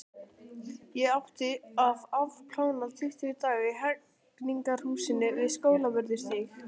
Ég átti að afplána tuttugu daga í Hegningarhúsinu við Skólavörðustíg.